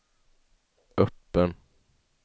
öppen